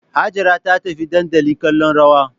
Hajara ta tafi dandali kallon rawa